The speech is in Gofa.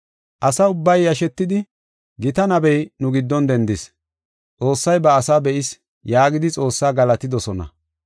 Asa ubbay yashetidi, “Gita nabey nu giddon dendis; Xoossay ba asaa be7is” yaagidi Xoossaa galatidosona.